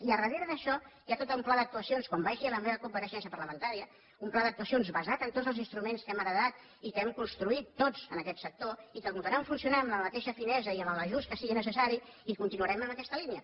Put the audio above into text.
i darrere d’això hi ha tot un pla d’actuacions com vaig dir a la meva compareixença parlamentària un pla d’actuacions basat en tots els instruments que hem heretat i que hem construït tots en aquest sector i que continuaran funcionant amb la mateixa finesa i amb l’ajust que sigui necessari i continuarem en aquesta línia